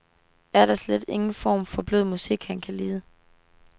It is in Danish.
Er der slet ingen former for blød musik, han kan lide?